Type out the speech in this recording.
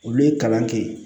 Olu ye kalan kɛ yen